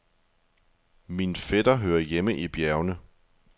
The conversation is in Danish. Min fætter hører hjemme i bjergene.